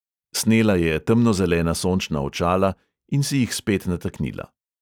Snela je temnozelena sončna očala in si jih spet nataknila.